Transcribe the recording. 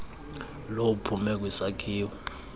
lo uphume kwisakhiwo